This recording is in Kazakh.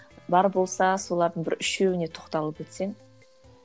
бар болса солардың бір үшеуіне тоқталып өтсең